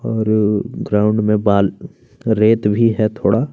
और ग्राउंड में बाल अ रेत भी हैं थोड़ा--